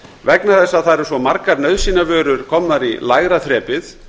vegna þess að það eru svo margar nauðsynjavörur komnar í lægra þrepið